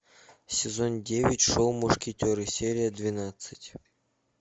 сезон девять шоу мушкетеры серия двенадцать